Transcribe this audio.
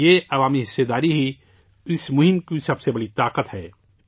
یہ عوامی شراکت داری ہی اس مہم کی سب سے بڑی طاقت ہے